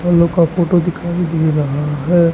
Heli copter दिखाई दे रहा है।